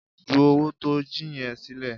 Ju owó tó o jí yẹn sílẹ̀!